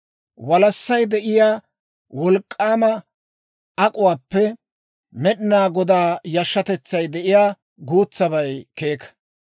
Walassay de'iyaa wolk'k'aama ak'uwaappe Med'inaa Godaa yashshatetsay de'iyaa guutsabay keeka.